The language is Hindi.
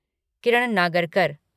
किरण नागरकर